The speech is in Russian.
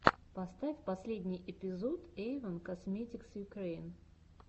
поставь последний эпизод эйвон косметикс юкрэин